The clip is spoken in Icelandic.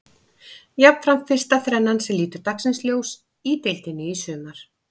Jafnframt fyrsta þrennan sem lítur dagsins ljós í deildinni í sumar.